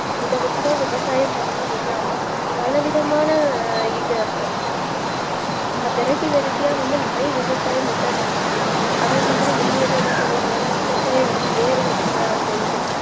இத வச்சுதான் விவசாயம் பண்ணனும்னு இல்லாம பலவிதமான இது veraity veraity யா வந்து நறைய விவசாயம் method வந்துருச்சு அதேமாதிரி மின்னடிலாம் என்ன பண்ணுவாங்கன விவசாயம் வந்து ஏர் வச்சுல அந்தஇது